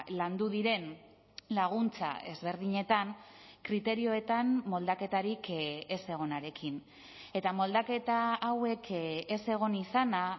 landu diren laguntza ezberdinetan kriterioetan moldaketarik ez egonarekin eta moldaketa hauek ez egon izana